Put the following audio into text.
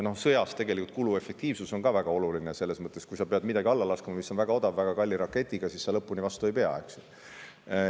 Sõjas on tegelikult kuluefektiivsus ka väga oluline, selles mõttes, et kui sa pead midagi väga odavat alla laskma väga kalli raketiga, siis sa lõpuni vastu ei pea, eks.